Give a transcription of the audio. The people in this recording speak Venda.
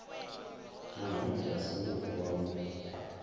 nahone vha songo vuwa vho